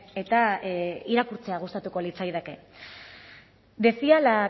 eta irakurtzea gustatuko litzaidake decía la